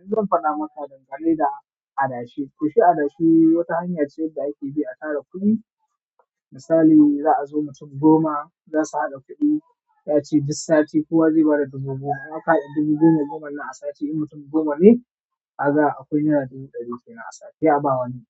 Yanzu zan fada maka dangane da adashi. Toshi adashi wata hanya ce da ake bi a tara kudi. Misali za a zo mutum goma za su haɗa kudi, za'a ce duk sati kowa zai bada dubu goma. In aka hada dubu goma, goma na sati in mutum goma ne, kaga akwai naira dubu ɗari kenan a sati sai a bawa wani.